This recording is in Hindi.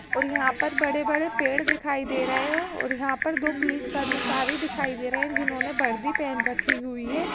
और यहाँं पर बड़े-बड़े पेड़ दिखाई दे रहे हैं और यहाँं पर दो पुलिस कर्मचारी दिखाई दे रहे हैं जिन्होंने वर्दी पहनी रखी हुई है।